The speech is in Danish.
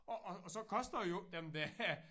Og og og så koster jo dem det